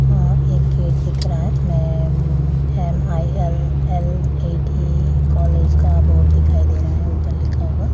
आ एक गेट दिख रहा है जिसमे एम.आई.एल.एल.ए.टी. कॉलेज का बोर्ड दिखाई दे रहा है ऊपर लिखा हुआ।